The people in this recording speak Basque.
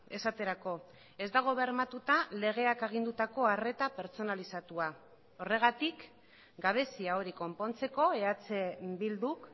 esaterako ez dago bermatuta legeak agindutako arreta pertsonalizatua horregatik gabezia hori konpontzeko eh bilduk